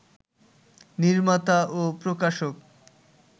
নির্মাতা ও প্রকাশক